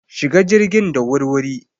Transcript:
Shiga jirgin da wur-wuri!